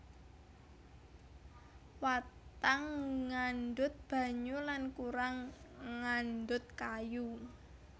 Watang ngandhut banyu lan kurang ngandhut kayu